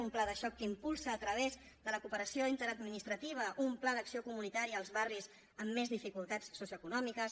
un pla de xoc que impulsa a través de la cooperació interadministrativa un pla d’acció comunitària als barris amb més dificultats socioeconòmiques